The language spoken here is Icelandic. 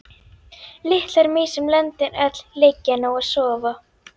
Litlar mýs um löndin öll, liggja nú og sofa.